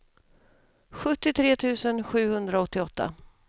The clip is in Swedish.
sjuttiotre tusen sjuhundraåttioåtta